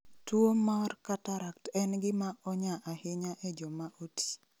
Tuwo mar cataract en gima onya ahinya e joma oti